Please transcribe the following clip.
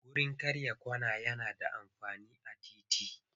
Wurin karya kwana yana da amfani a titi.